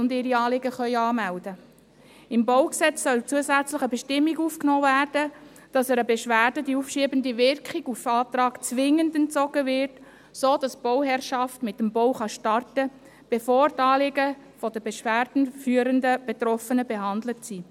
Ins BauG soll eine zusätzliche Bestimmung aufgenommen werden, wonach einer Beschwerde auf Antrag die aufschiebende Wirkung zwingend entzogen wird, damit die Bauherrschaft mit dem Bau starten kann, bevor die Anliegen der Beschwerde führenden Betroffenen behandelt sind.